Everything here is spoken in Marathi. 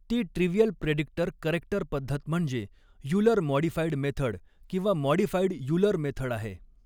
ती ट्रिवियल प्रेडिक्टर करेक्टर पद्धत म्हणजे यूलर मॉडिफाइड मेथड किंवा मॉडिफाइड यूलर मेथड आहे.